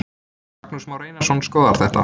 Magnús Már Einarsson skoðar það.